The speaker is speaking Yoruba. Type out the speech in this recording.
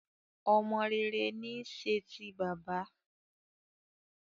Ọmọ rere ní í ṣe ti bàbá